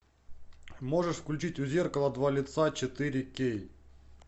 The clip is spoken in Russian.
можешь включить у зеркала два лица четыре кей